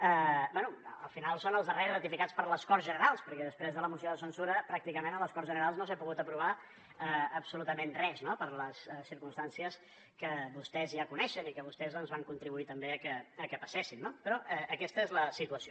bé al final són els darrers ratificats per les corts generals perquè després de la moció de censura pràcticament a les corts generals no s’ha pogut aprovar absolutament res no per les circumstàncies que vostès ja coneixen i que vostès doncs van contribuir també a que passessin però aquesta és la situació